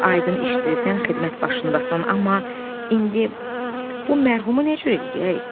Aydın işdir, sən xidmət başındasan, amma indi bu mərhumu necə eləyək?